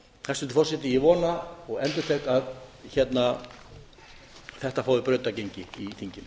hæstvirtur forseti ég vona og endurtek það að þetta fái brautargengi í